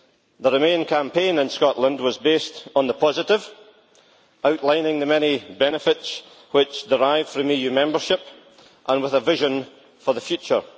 The remain campaign in Scotland was based on the positive, outlining the many benefits which derive from EU membership and with a vision for the future.